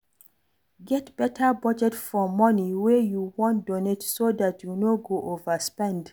Get better budget for money wey you wan donate so dat you no go overspend